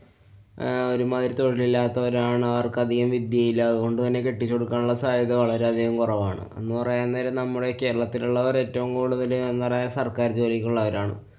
അഹ് ഒരുമാതിരി തൊഴിലില്ലാത്തവരാണ്. അവര്‍ക്കധികം വിദ്യയില്ല. അതുകൊണ്ട് തന്നെ കെട്ടിച്ചു കൊടുക്കാനുള്ള സാധ്യത വളരെയധികം കുറവാണ്. എന്നുപറയാന്‍ നേരം നമ്മുടെ കേരളത്തിലുള്ളവരേറ്റവും കൂടുതല് എന്ന് പറഞ്ഞാല്‍സര്‍ക്കാര്‍ ജോലിയിലുള്ളവരാണ്.